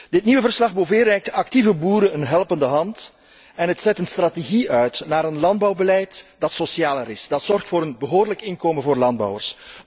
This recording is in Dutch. Dit nieuwe verslag Bové reikt de actieve boeren een helpende hand en het zet een strategie uit naar een landbouwbeleid dat socialer is en dat zorgt voor een behoorlijk inkomen voor landbouwers.